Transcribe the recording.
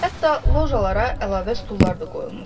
Hətta lojalara əlavə stullar da qoyulmuşdu.